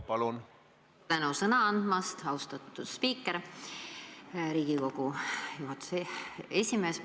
Palju tänu sõna andmast, austatud spiiker, Riigikogu juhatuse esimees!